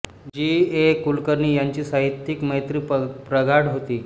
जी A Kulkarni यांची साहित्यिक मैत्री प्रगाढ होती